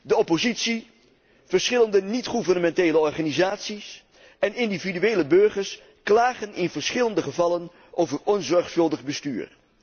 De oppositie, verschillende niet gouvernementele organisaties en individuele burgers klagen in verschillende gevallen over onzorgvuldig bestuur.